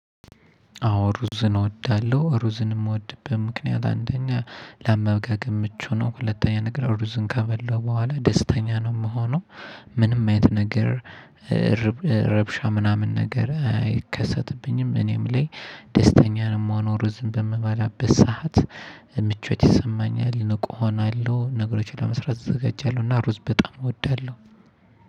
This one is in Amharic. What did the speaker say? አዎ ሩዝን እወዳለሁ ሩዝን የምወድበት ምክንያት አንደኛ ለአመጋገብ ምቹ ነው። ሁለተኛ ነገር ሩዝን ከበላሁ በኋላ ደስተኛ ነው የምሆነው። ምንም አይነት ነገር። ረብሻ ምናምን ነገር አይከሰትብኝም እኔም ላይ። ደስተኛ ነው የምሆነው ሩዝን በምባላበት ሰዓት። ምቾት ይሰማኛል ንቁ እሆናለሁ ነገሮችን ለመስራት እዘገጃለሁ እና ሩዝ በጣም እወዳለሁ።